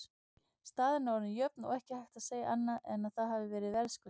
Staðan orðin jöfn og ekki hægt að segja annað en að það hafi verið verðskuldað.